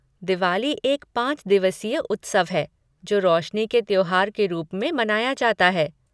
दिवाली एक पाँच दिवसीय उत्सव है जो रोशनी के त्योहार के रूप में मनाया जाता है।